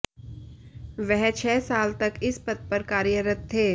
वह छह साल तक इस पद पर कार्यरत थे